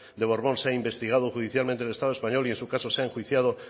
de borbón sea investigado judicialmente en el estado español y en su caso sea enjuiciado